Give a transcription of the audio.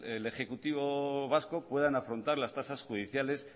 el ejecutivo vasco puedan afrontar las tasas judiciales